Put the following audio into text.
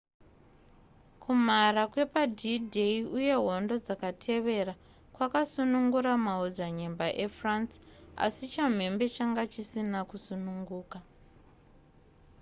kumhara kwepad-day uye hondo dzakatevera kwakasunungura maodzanyemba efrance asi chamhembe changa chisina kusununguka